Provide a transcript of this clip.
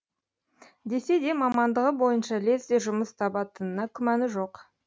десе де мамандығы бойынша лезде жұмыс табатынына күмәні жоқ